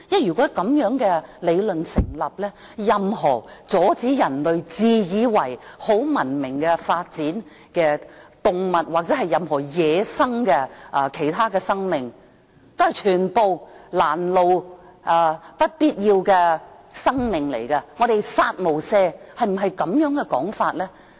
如果這樣的理論也成立，那麼，任何阻礙人類自以為很文明的發展的動物或任何其他野生的生命，全都是攔路、不必要的生命，我們要"殺無赦"，是否應這樣說呢？